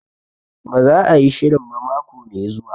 Ba za a yi shirin ba mako mai zuwa